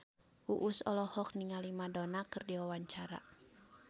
Uus olohok ningali Madonna keur diwawancara